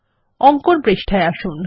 অঙ্কন পৃষ্ঠায় আসুন